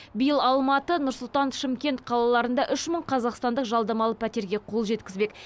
биыл алматы нұр сұлтан шымкент қалаларында үш мың қазақстандық жалдамалы пәтерге қол жеткізбек